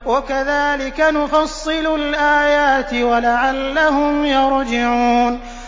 وَكَذَٰلِكَ نُفَصِّلُ الْآيَاتِ وَلَعَلَّهُمْ يَرْجِعُونَ